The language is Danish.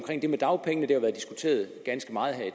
det med dagpengene det har jo været diskuteret ganske meget her i